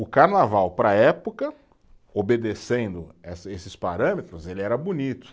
O carnaval, para a época, obedecendo essa, esses parâmetros, ele era bonito.